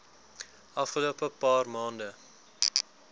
afgelope paar maande